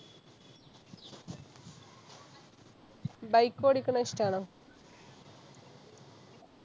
Bike ഓടിക്കണേ ഇഷ്ട്ടാണോ